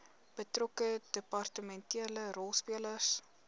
betrokke departementele rolspelers